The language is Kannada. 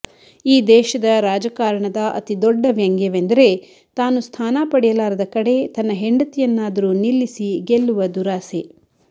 ಈ ದೇಶದ ರಾಜಕಾರಣದ ಅತಿ ದೊಡ್ಡ ವ್ಯಂಗ್ಯವೆಂದರೆ ತಾನು ಸ್ಥಾನ ಪಡೆಯಲಾರದ ಕಡೆ ತನ್ನ ಹೆಂಡತಿಯನ್ನಾದರೂ ನಿಲ್ಲಿಸಿ ಗೆಲ್ಲುವ ದುರಾಸೆ